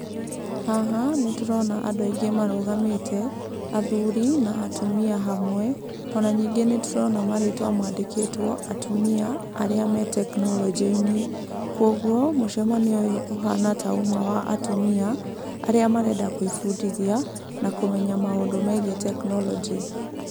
Hha nĩ tũrona andũ aingĩ marũgamĩte athuri na atumia hamwe, ona ningĩ nĩ tũrona marĩtwa mandĩkĩtwo atumia arĩa me tekinoronjĩ-inĩ, kũoguo mũcemanio ũyũ ĩta uma wa atumia arĩa marenda gwĩbundithia na kũmenya maũndũ megiĩ tekinoronjĩ.